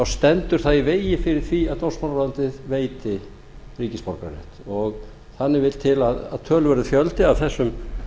stendur það í vegi fyrir því að dómsmálaráðuneytið veiti ríkisborgararétt þannig vill til að töluverður fjöldi af þessum